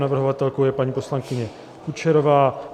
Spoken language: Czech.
Navrhovatelkou je paní poslankyně Kučerová .